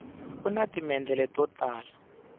una timendlele to tala